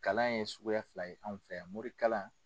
Kalan ye suguya fila ye an fɛ mori kalan.